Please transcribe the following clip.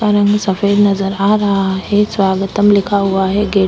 उसका रंग सफेद नजर आ रहा है स्वागतम लिखा हुआ है गेट --